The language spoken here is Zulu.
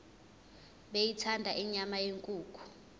beyithanda inyama yenkukhu